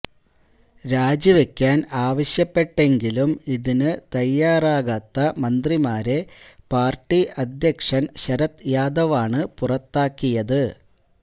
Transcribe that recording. രാജിവയ്ക്കാന് ആവശ്യപ്പെട്ടെങ്കിലും ഇതിനു തയാറാകാത്ത മന്ത്രിമാരെ പാര്ട്ടി അധ്യക്ഷന് ശരത് യാദവ് ആണ് പുറത്താക്കിയത്